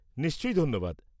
নিশ্চয়ই, ধন্যবাদ।